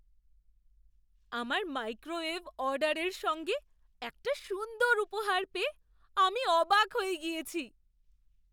আমার মাইক্রোওয়েভ অর্ডারের সঙ্গে একটা সুন্দর উপহার পেয়ে আমি অবাক হয়ে গিয়েছি।